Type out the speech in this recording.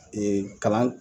kalan